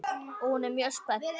Og hún er mjög spennt.